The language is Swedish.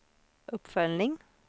uppföljning